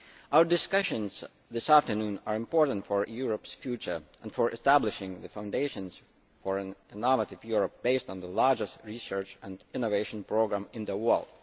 Our discussions this afternoon are important for Europe's future and for establishing the foundations of an innovative Europe based on the largest research and innovation programme in the world.